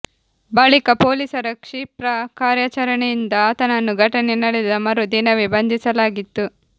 ಬಳಿಕ ಪೊಲೀಸರ ಕ್ಷಿಪ್ರ ಕಾರ್ಯಾಚರಣೆಯಿಂದ ಆತನನ್ನು ಘಟನೆ ನಡೆದ ಮರು ದಿನವೆ ಬಂಧಿಸಲಾಗಿತ್ತು